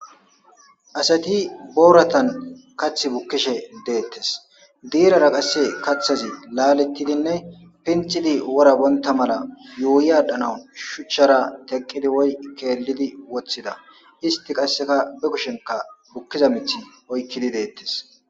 Asatti borattan kathi bukishe dettes buura bontta mala yushi athidi shucharra kellidi woykko teqidi wothidosona istti qasikka benta kushen bukizza mishe oykiddi dettes.